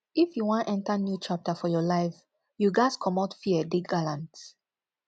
if you wan enter new chapter for your life you ghas comot fear dey gallant